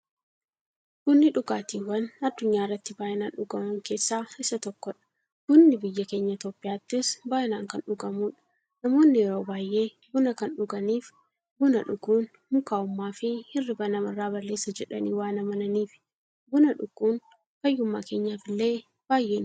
Bunni dhugaatiiwwan addunyaarratti baay'inaan dhugaman keessaa isa tokkodha. Bunni biyya keenya Itiyoophiyaattis baay'inaan kan dhugamuudha. Namoonni yeroo baay'ee buna kan dhuganiif, buna dhuguun mukaa'ummaafi hirriiba namarraa balleessa jedhanii waan amananiifi. Buna dhuguun fayyummaa keenyaf illee baay'ee nu fayyada.